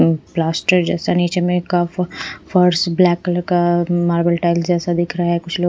plaster जैसा नीचे में का फर्श ब्लैक कलर का मार्बल टाइल जैसा दिख रहा है कुछ लोग--